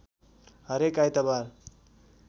हरेक आइतबार